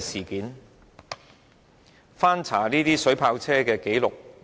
我翻查過水炮車的歷史。